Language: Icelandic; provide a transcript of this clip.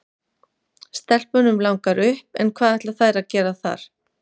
Stelpunum langar upp en hvað ætla þær að gera þar?